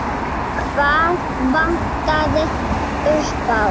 Hvað vantaði upp á?